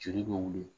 Joli bɛ wuli